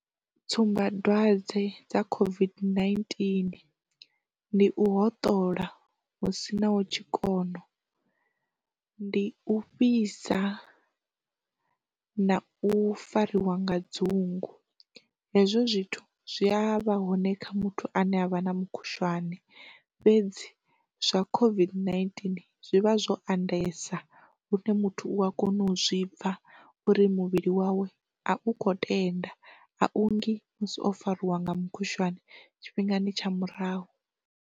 Tsumbadwadze dza COVID-19 ndi u hoṱola hu sina hu tshikona, ndi u fhisa, na u fariwa nga dzungu, hezwo zwithu zwi a vha hone kha muthu ane avha na mukhushwane fhedzi zwa COVID-19 zwivha zwo andesaho lune muthu u a kona u zwi pfa uri muvhili wawe a u kho tenda a ungi musi o fariwa nga mukhushwane tshifhingani tsha murahu.